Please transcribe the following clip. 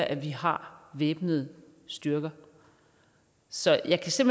at vi har væbnede styrker så jeg kan